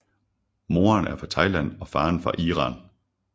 Moderen er fra Thailand og faren fra Iran